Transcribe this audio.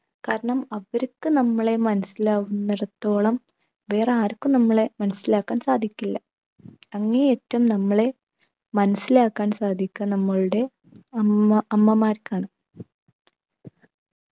കാരണം അവർക്ക് നമ്മളെ മനസിലാവുന്നിടത്തോളം വേറാർക്കും നമ്മളെ മനസിലാക്കാൻ സാധിക്കില്ല. അങ്ങേയറ്റം നമ്മളെ മനസിലാക്കാൻ സാധിക്ക നമ്മളുടെ അമ്മ അമ്മമാർക്കാണ്.